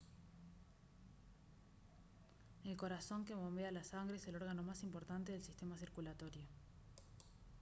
el corazón que bombea la sangre es el órgano más importante del sistema circulatorio